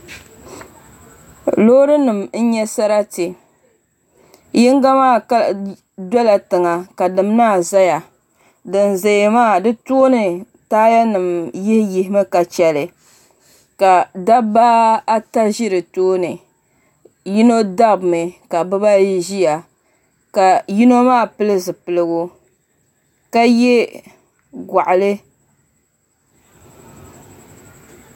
Loori nim n nyɛ sarati yinga maa dola tiŋa ka dini maa doya din ʒɛya maa di tooni taaya nim yihi yihi mi ka chɛli ka dabba ata ʒi di tooni yino dabimi ka bibayi ʒiya ka yino maa pili zipiligu ka yɛ goɣali